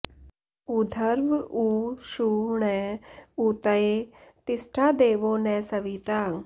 ऊ॒र्ध्व ऊ॒ षु ण॑ ऊ॒तये॒ तिष्ठा॑ दे॒वो न स॑वि॒ता